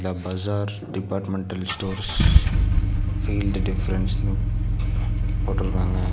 The bazaar departmental stores feel the டிஃபரன்ஸ்ன்னு போட்ருக்காங்க.